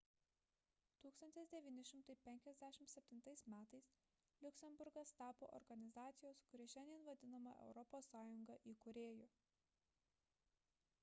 1957 m liuksemburgas tapo organizacijos kuri šiandien vadinama europos sąjunga įkūrėju